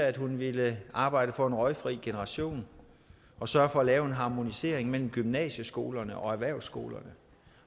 at hun ville arbejde for en røgfri generation og sørge for at lave en harmonisering mellem gymnasieskolerne og erhvervsskolerne